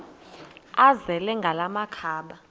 azele ngala makhaba